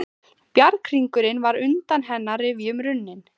Bjarghringurinn var undan hennar rifjum runninn.